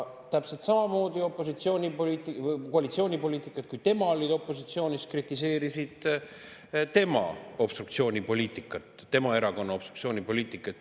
Täpselt samamoodi koalitsioonipoliitikud, kui tema oli opositsioonis, kritiseerisid tema obstruktsioonipoliitikat, tema erakonna obstruktsioonipoliitikat.